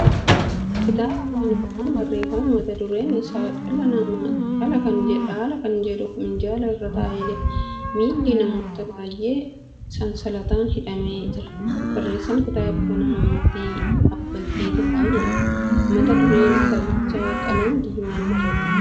Kitaaba Afaan Oromoon barreeffame mata dureen isaa dhaala kan jedhu minjaala irra taa'ee jira. Miilli namoota baay'ee sansalataan hidhamee jira. Barreeessaan kitaaba kanaa Mootii Abbaltii Tufaa jedhama. Mata dureen kitaabichaa qalama diimaan barreeffame.